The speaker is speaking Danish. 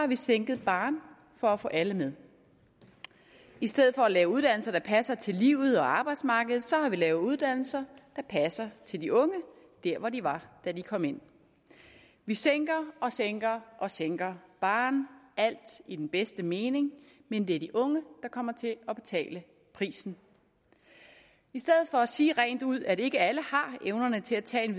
vi sænket barren for at få alle med i stedet for at lave uddannelser der passer til livet og arbejdsmarkedet så har vi lavet uddannelser der passer til de unge der hvor de var da de kom ind vi sænker og sænker og sænker barren alt i den bedste mening men det er de unge der kommer til at betale prisen i stedet for at sige rent ud at ikke alle har evnerne til at tage